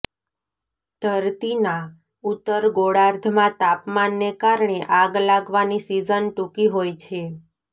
ધરતીના ઉત્તર ગોળાર્ધમાં તાપમાનને કારણે આગ લાગવાની સિઝન ટૂંકી હોય છે